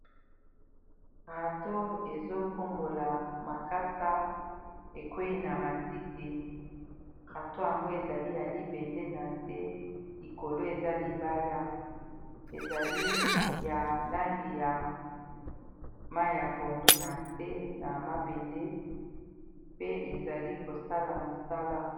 rato ezokombola makasa ekwei na matiti rato yango ezali ya libende na se likolo eza libaya ezali ya langi ya mai ya pondu na se na mabende pe ezali kosala mosala